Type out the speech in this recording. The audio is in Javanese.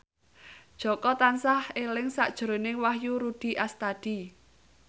Jaka tansah eling sakjroning Wahyu Rudi Astadi